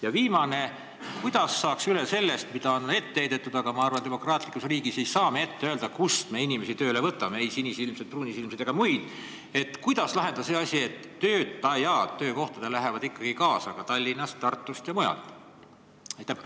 Ja viimane küsimus: kuidas saaks üle sellest, mida on ette heidetud – ehkki ma arvan, et demokraatlikus riigis me ei saa ette öelda, kust me inimesi tööle võtame, sinisilmseid, pruunisilmseid või muid –, ja kuidas lahendada see asi, et töötajad lähevad ikkagi kaasa töökohtadelt Tallinnast, Tartust ja mujalt?